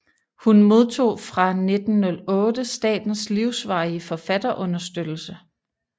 Hun modtog fra 1908 statens livsvarige forfatterunderstøttelse